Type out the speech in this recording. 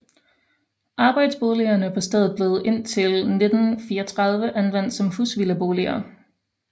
Arbejderboligerne på stedet blev indtil 1934 anvendt som husvildeboliger